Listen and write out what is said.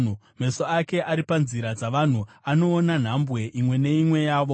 “Meso ake ari panzira dzavanhu; anoona nhambwe imwe neimwe yavo.